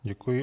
Děkuji.